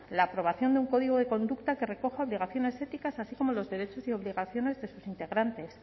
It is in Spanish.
la aprobación de un código de conducta que recoja obligaciones éticas así como los derechos y obligaciones de sus integrantes